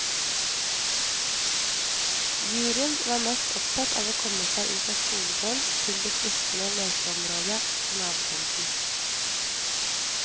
Juryen var mest opptatt av å komme seg ut av skolegården til det fristende lekeområdet på nabotomten.